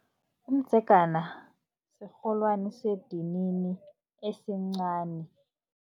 Umdzegana sirholwani sedinini esincani.